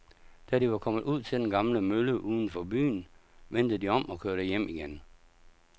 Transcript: Da de var kommet ud til den gamle mølle uden for byen, vendte de om og kørte hjem igen.